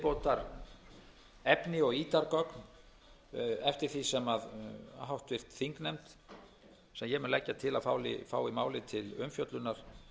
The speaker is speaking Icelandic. hægt að reiða fram viðbótarefni og ítargögn eftir því sem háttvirtur þingnefnd sem ég mun leggja til að fái málið til umfjöllunar